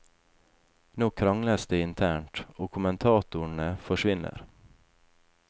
Nå krangles det internt, og kommentatorene forsvinner.